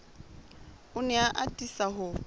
o ne a atisa ho